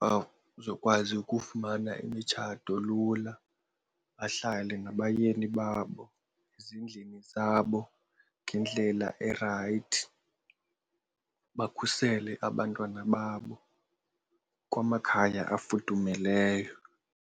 bazokwazi ukufumana imitshato lula. Bahlale nabayeni babo ezindlini zabo ngendlela erayithi bakhusele abantwana babo kwamakhaya afudumeleyo.